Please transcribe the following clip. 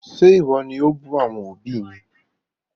Ṣe iwọ ni o bù àwọn òbí mi?